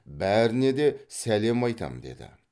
бәріне де сәлем айтам деді